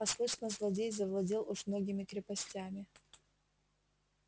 а слышно злодей завладел уж многими крепостями